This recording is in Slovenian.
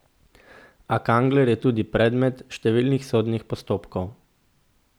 A Kangler je tudi predmet številnih sodnih postopkov.